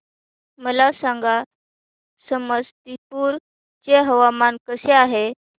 मला सांगा समस्तीपुर चे हवामान कसे आहे